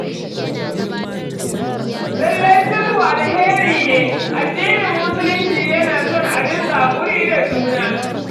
Lallai sulhu alhairi ne, addinin Musulunci yana son a dinga haƙuri da juna.